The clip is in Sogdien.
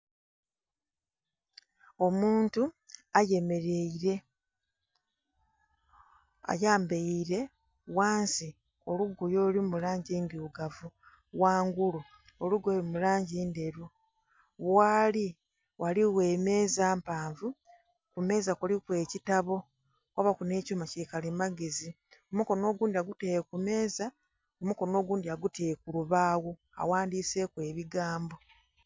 Omuntu ayemerere ayembeire ghansi olugoye olulimulangyi edhilugavu ghangulu olugoye lulimulangyi ndheru ghali ghaligho ghaligho emeza mpavu kumeza kuliku ekyitabo kwabaku nhekyuma kyikalimagezi omukonho ogundhi agutere kumeza omukonho ogundhi agutere kulubagho aghandiseku ebigambo